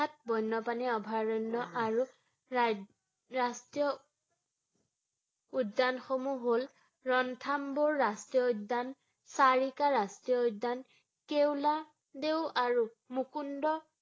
বন্যপ্ৰাণী আৰু অভয়াৰণ্য আৰু ৰাই~ ৰাষ্ট্ৰীয় উদ্যানসমূহ হ’ল ৰনথাম্বুৰ ৰাষ্ট্ৰীয় উদ্যান, চাৰিকা ৰাষ্ট্ৰীয় উদ্যান, কেউলাদেউ আৰু মুকুন্দ